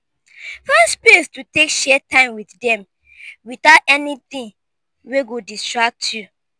find space to take share time wit dem witout anytin wey go distract yu